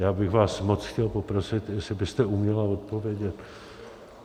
Já bych vás moc chtěl poprosit, jestli byste uměla odpovědět.